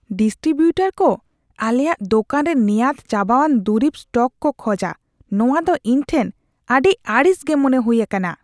Distributor ᱠᱚ ᱟᱞᱮᱭᱟᱜ ᱫᱳᱠᱟᱱ ᱨᱮ ᱱᱮᱭᱟᱫ ᱪᱟᱵᱟᱣᱟᱱ ᱫᱩᱨᱤᱵ ᱥᱴᱚᱠ ᱠᱚ ᱠᱷᱚᱡᱟ ᱱᱚᱶᱟ ᱫᱚ ᱤᱧᱴᱷᱮᱱ ᱟᱹᱰᱤ ᱟᱹᱲᱤᱥᱜᱮ ᱢᱚᱱᱮ ᱦᱩᱭ ᱟᱠᱟᱱᱟ ᱾